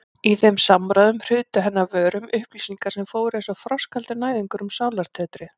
Í þeim samræðum hrutu henni af vörum upplýsingar sem fóru einsog frostkaldur næðingur um sálartetrið.